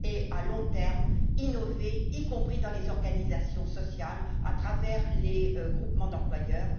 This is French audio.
et, à long terme, innover, y compris dans les organisations sociales à travers les groupements d'employeurs.